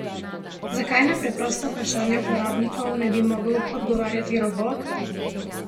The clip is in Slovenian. Zakaj na preprosta vprašanja uporabnikov ne bi mogel odgovarjati robot?